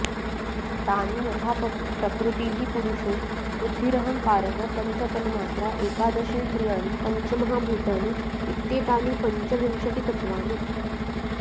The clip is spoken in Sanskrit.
तानि यथा प्रकृतिः पुरुषो बुद्धिरहंकारः पञ्चतन्मात्रा एकादशेन्द्रियाणि पञ्चमहाभूतानि इत्येतानि पञ्चविंशतितत्त्वानि